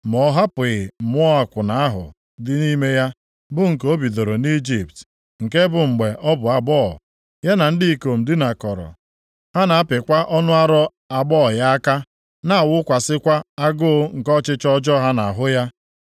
Ma ọ hapụghị mmụọ akwụna ahụ dị nʼime ya, bụ nke o bidoro nʼIjipt, nke bụ na mgbe ọ bụ agbọghọ ya na ndị ikom dinakọrọ, ha na-apịkwa ọnụ ara agbọghọ ya aka, na-awụkwasịkwa agụụ nke ọchịchọ ọjọọ ha nʼahụ ya.